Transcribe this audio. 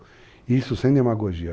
E isso sem demagogia.